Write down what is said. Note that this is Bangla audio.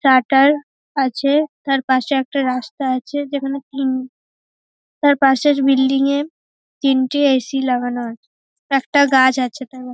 শাটার আছে তার পাশে একটা রাস্তা আছে যেখানে তিন তার পাশের বিল্ডিং -এ তিনটে এ . সি. লাগানো আছে। একটা গাছ আছে তার --